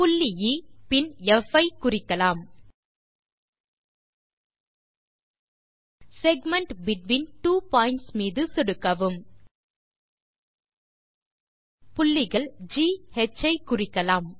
புள்ளி எ பின் ப் ஐ குறிக்கலாம் செக்மென்ட் பெட்வீன் ட்வோ பாயிண்ட்ஸ் மீது சொடுக்கவும் புள்ளிகள் ஜி ஹ் ஐ குறிக்கலாம்